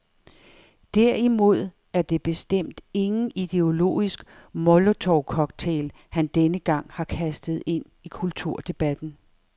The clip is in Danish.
Derimod er det bestemt ingen ideologisk molotovcocktail, han denne gang har kastet ind i kulturdebatten.